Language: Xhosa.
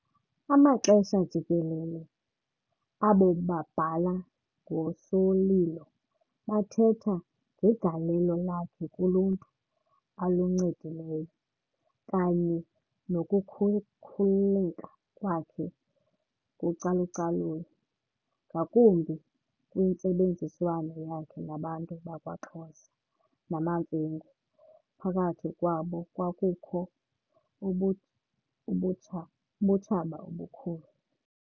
Amaxesha jikelele, abo babhala ngoSolilo bathetha ngegalelo lakhe kuluntu aluncedileyo, kanye nokukhululeka kwakhe kucalucalulo, ngakumbi kwintsebenziswano yakhe nabantu bakwaXhosa namaMfengu, phakathi kwabo kwakukho ubu ubutsha ubutshaba obukhulu.